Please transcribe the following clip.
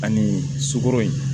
Ani sukoro